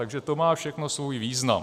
Takže to má všechno svůj význam.